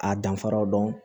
A danfaraw dɔn